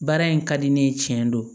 Baara in ka di ne ye tiɲɛ don